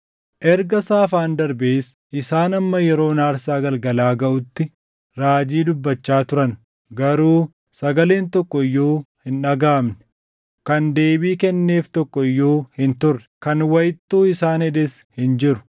Erga saafaan darbees isaan hamma yeroon aarsaa galgalaa gaʼutti raajii dubbachaa turan. Garuu sagaleen tokko iyyuu hin dhagaʼamne; kan deebii kenneef tokko iyyuu hin turre; kan wayittuu isaan hedes hin jiru.